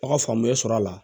A ka faamuya sɔrɔ a la